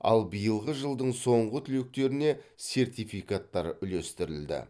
ал биылғы жылдың соңғы түлектеріне сертификаттар үлестірілді